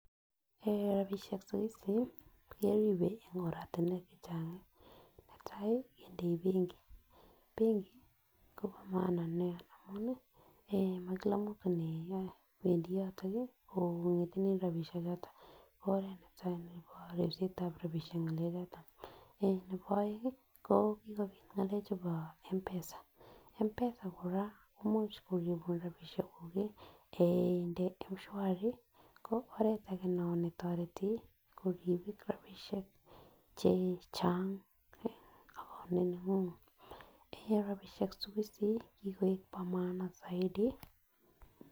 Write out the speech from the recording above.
Eh rabishek siku hizi keribe en oratunwek chechang netai kindei benki, benki Kobo maana niaa amun mao Kila mtu newendii yoton nii koyoton nii kongetine rabishek choton ko oret netai nebo ribetab rabishek en ngalek choton. Eh nebo oengi ko kikopit angelek chebo M'PESA, M'PESA koraa ko imuch koribun rabishek kuk kii yekeinde mshwari ko oret age non netoreti kokimit kora rabishek chechang ak ko nenguny en rabishek siku hizi kikoik bo maana soidi.